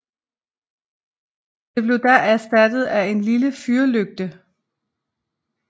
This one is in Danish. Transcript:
Det blev da erstattet af en lille fyrlygte